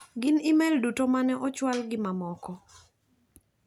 Gin imelduto mane ochwal gi mamoko.